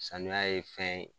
Saniya ye fɛn ye.